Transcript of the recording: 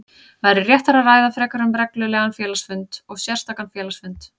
væri réttara að ræða frekar um reglulegan félagsfund og sérstakan félagsfund.